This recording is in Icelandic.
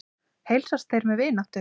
Heilsast þeir með vináttu.